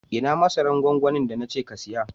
Ina masaran gwangwamin da na ce ka siyu?